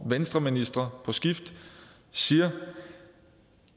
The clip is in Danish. venstreministre på skift siger at